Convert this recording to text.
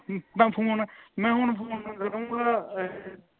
ਮੈਂ phone ਮੈਂ ਹੁਣੇ phone ਕਰੂੰਗਾ